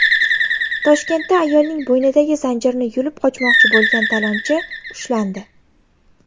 Toshkentda ayolning bo‘ynidagi zanjirni yulib qochmoqchi bo‘lgan talonchi ushlandi.